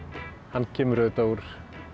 hann kemur úr